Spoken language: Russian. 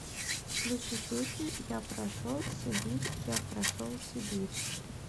включи песню я прошел сибирь я прошел сибирь